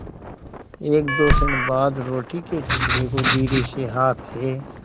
एकदो क्षण बाद रोटी के टुकड़े को धीरेसे हाथ से